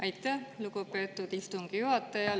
Aitäh, lugupeetud istungi juhataja!